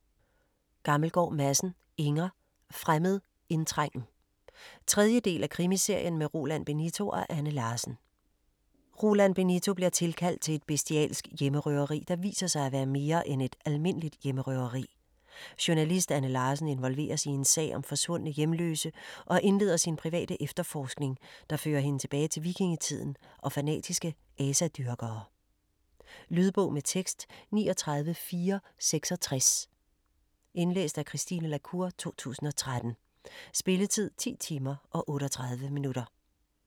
Gammelgaard Madsen, Inger: Fremmed indtrængen 3. del af Krimiserien med Roland Benito og Anne Larsen. Roland Benito bliver tilkaldt til et bestialsk hjemmerøveri, der viser sig at være mere end et almindeligt hjemmerøveri. Journalist Anne Larsen involveres i en sag om forsvundne hjemløse og indleder sin private efterforskning, der fører hende tilbage til vikingetiden og fanatiske asadyrkere. Lydbog med tekst 39466 Indlæst af Christine la Cour, 2013. Spilletid: 10 timer, 38 minutter.